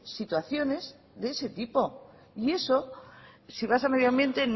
situaciones de ese tipo y eso si vas a medio ambiente